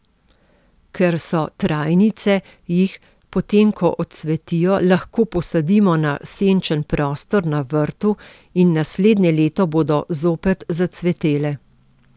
Ker so trajnice, jih, potem ko odcvetijo, lahko posadimo na senčen prostor na vrtu in naslednje leto bodo zopet zacvetele.